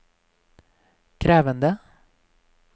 krevende